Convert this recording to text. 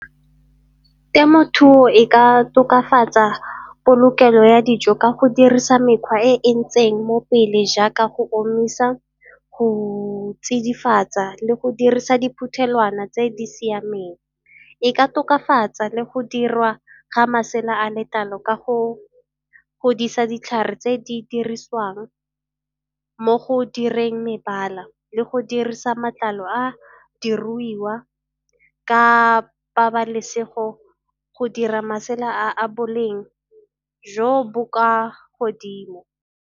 Temothuo e ka tokafatsa polokelo ya dijo ka go dirisa mekgwa e e ntseng mo pele jaaka go omisa, go tsidifaditsa le go dirisa diphuthelwana tse di siameng. E ka tokafatsa le go dirwa ga masela a letlalo ka go godisa ditlhare tse di dirisiwang mo go direng mebala le go dirisa matlalo a diruiwa ka pabalesego go dira masela a a boleng jo bo kwa godimo.